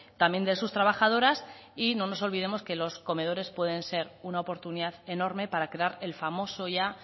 también de sus trabajadoras y no nos olvidemos que los comedores pueden ser una oportunidad enorme para crear el famoso ya